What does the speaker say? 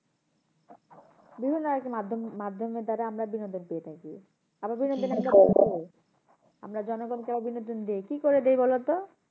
বিভিন্ন আরকি মাধ্যম, মাধ্যমের দ্বারা আমরা বিনোদন পেয়ে থাকি। আমরা জনগণকে আবার বিনোদন দিই কি করে দিই বলো তো?